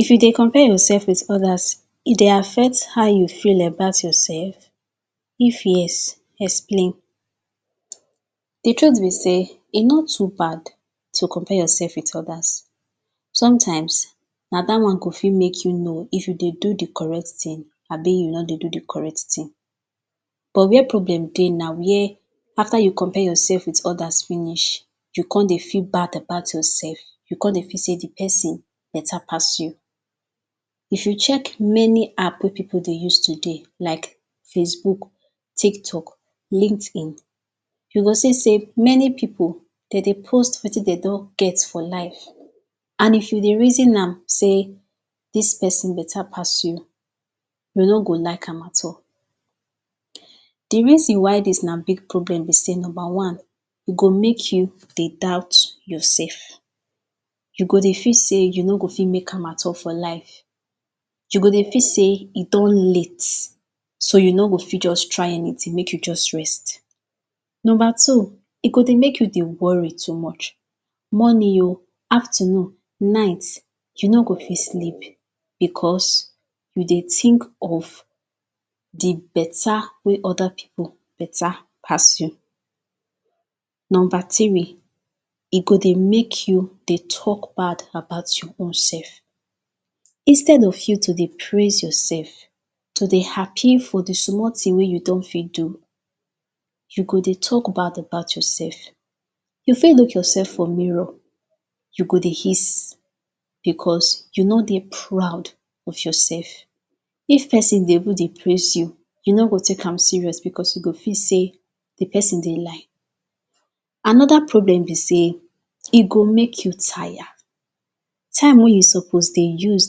if yu dey compare yorself with odas e dey affect haw yu feel about yorself if yes explain di truth bi sey e no too bad to compare yorself with odas sometimes na da one go fit make yu know if yu dey do di correct tin abi yu no dey do di correct tin buh wehere problem na where after yu compare yorself with odas finish yu come dey feel bad about yorself yu come dey feel sey di [pesin beta pass yu if yu check many app wey pipol dey use today like facebook tiktok lint in yu go see sey many pipol de dey post wetin dem don get for life and if yu dey reasom am say ids pesin beta pass yu yu no go like am at all di reason why dis na big problem b i sey number one u go make yu dey doubt yorself u go dey feel say yu no go fi dey make am for life yu go dey feel say e don late so yu no go fit just try anitin make yu just rest number two e go dey make yu dey worry too much morning ooo afternoon night yu no go dit sleep bicos yu dey think of di beta wey oda pipol beta beta pass yu number three e go dey make yu de talk bad about yor own sef instead of yu to dey praise yorsef to dey happi for di small tin wey yu don fit do yu go dey talk bad about yorsef yu fit check yorsef for mirror yu go dey hiss bicos yu no dey proud of yorsef if pesin dey able dey praise yu yu no go take am serious bicos yu go feel sey di pesin dey lie anoda problem bi sey e go make yu tire time wey yu suppose dey use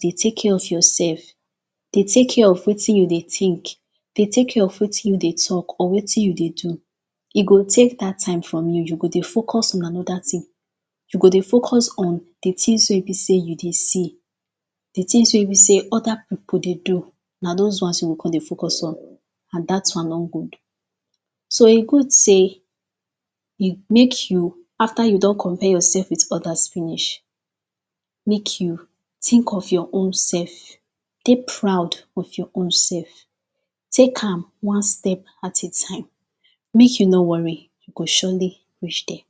dey take cake of yorsef dey take care of wetin yu dey tink deh take care of wetin yu dey talk or wetin yu dey do e go take dat time from yu yu go dey focus on anoda tin yu go dey focus on di tins wey bi sey yu dey see di tins wey e bi sey oda pipol dey do na dos ones yu go come dey focus on and dat one don good so e good sey ik make yu after yu don compare yorsef with odas finish make yu tink of yor own sef dey proud of yor own sef take am one step at a time make yu no worry yu go surely rish dere